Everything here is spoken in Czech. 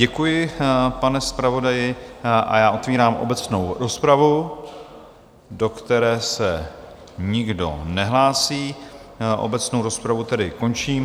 Děkuji, pane zpravodaji, a já otvírám obecnou rozpravu, do které se nikdo nehlásí, obecnou rozpravu tedy končím.